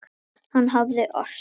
Hann hafði ort það.